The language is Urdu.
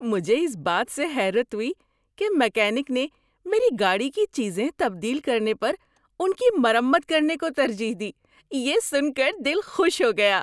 مجھے اس بات سے حیرت ہوئی کہ میکینک نے میری گاڑی کی چیزیں تبدیل کرنے پر ان کی مرمت کرنے کو ترجیح دی۔ یہ سن کر دل خوش ہو گیا۔